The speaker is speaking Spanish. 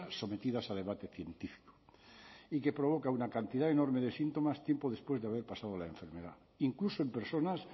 sometidas a debate científico y que provoca una cantidad enorme de síntomas tiempo después de haber pasado la enfermedad incluso en personas